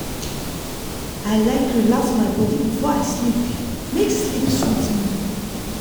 i like relax my body before i sleep make sleep sweet me.